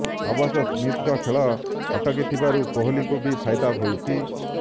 ଅବଶ୍ୟ ସ୍ମିଥ୍ଙ୍କ ଖେଳ ଅଟକିଥିବାରୁ କୋହଲିଙ୍କୁ ବି ଫାଇଦା ହୋଇଛି